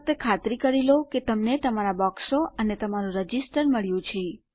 ફક્ત ખાતરી કરી લો કે તમને તમારા બોક્સો અને તમારું રજીસ્ટર મળ્યું છે